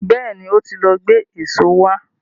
Bẹ́ẹ̀ni, ó ti lọ gbé èso wá.